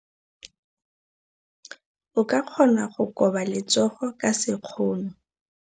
O ka kgona go koba letsogo ka sekgono.